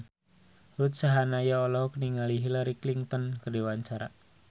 Ruth Sahanaya olohok ningali Hillary Clinton keur diwawancara